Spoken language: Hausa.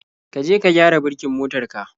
ka je ka gyara birkin motar ka.